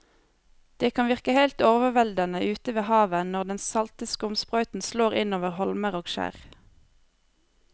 Det kan virke helt overveldende ute ved havet når den salte skumsprøyten slår innover holmer og skjær.